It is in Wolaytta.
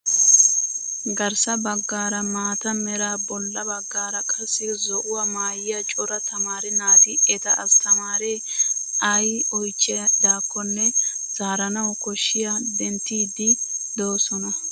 Garssa baggaaraa maata meraa bolla baggaara qassi zo'uwaa maayyia cora tamaare naati eta asttaamaare ayi oyichchidaakkonne zaaranawu kushiyaa denttiiddi doosona.